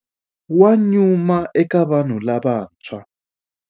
Wa nyuma eka vanhu lavantshwa.